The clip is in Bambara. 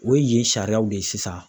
O ye yen sariyaw de ye sisan.